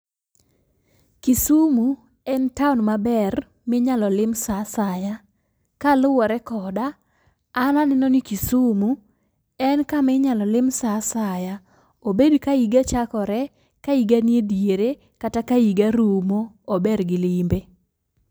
Kisumu en taon maber minyalo lim saa asaya. Kaluwore koda , an aneno ni Kisumu en kaminyalo lim saa asaya obed ka higa chakore ,ka higa ni ediere kata ka higa rumo ober gi limbe.